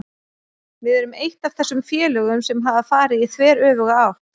Við erum eitt af þessum félögum sem hafa farið í þveröfuga átt.